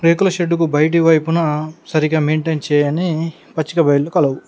రేకుల షెడ్డు కు బయటి వైపున సరిగా మెయింటైన్ చేయని పచ్చిగా బయలు కలవు.